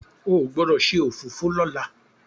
o gbódò ṣe òfófó lọla!